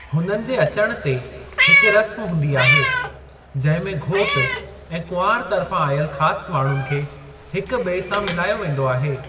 हुननि जे अचण ते, हिकु रस्म हूंदी आहे जंहिं में घोट ऐं कुंवार तर्फां आयलु ख़ासि माण्‍हुनि खे हिकु ॿिए सां मिलायो वेंदो आहे।